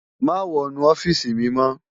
Mà wònú òfisi mi mò